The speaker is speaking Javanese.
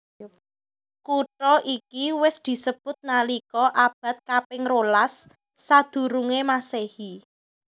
Kutha iki wis disebut nalika abad kaping rolas sadurungé Masehi